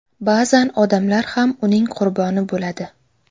Ba’zan odamlar ham uning qurboni bo‘ladi.